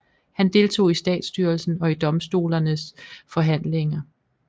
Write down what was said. Han deltog i statsstyrelsen og i domstolernes forhandlinger